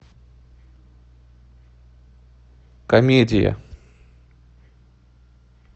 комедия